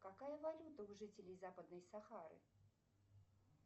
какая валюта у жителей западной сахары